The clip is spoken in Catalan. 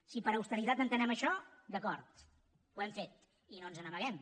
si per austeritat entenem això d’acord ho hem fet i no ens n’amaguem